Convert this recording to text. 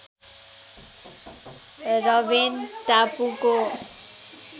Robben टापुको